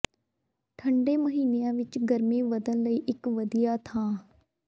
ਠੰਢੇ ਮਹੀਨਿਆਂ ਵਿਚ ਗਰਮੀ ਵਧਣ ਲਈ ਇਕ ਵਧੀਆ ਥਾਂ